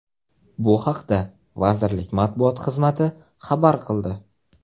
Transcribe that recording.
Bu haqda vazirlik matbuot xizmati xabar qildi.